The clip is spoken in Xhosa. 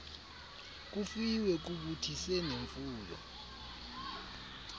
kufiwe kubuthise nemfuyo